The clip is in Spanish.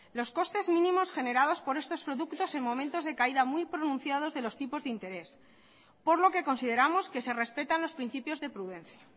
los costes mínimos generados por estos productos en momentos de caída muy pronunciado de los tipos de interés por lo que consideramos que se respetan los principios de prudencia